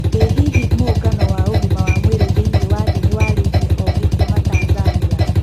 ĩ hihi mũũngano wa ũgima wa mwĩrĩ thĩiniĩ wa thĩ nĩwararirie ogĩ kuuma Tanzania.